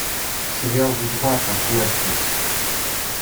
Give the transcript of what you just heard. сериал ведьмак от нетфликс